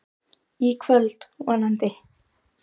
Í kvöld, vonandi.